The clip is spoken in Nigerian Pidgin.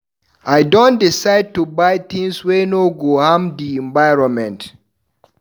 I don decide to dey buy tins wey no go harm di environment.